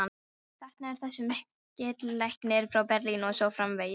þarna er þessi mikli læknir frá Berlín og svo framvegis.